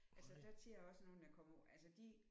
Altså der kender jeg også nogle der kommer altså de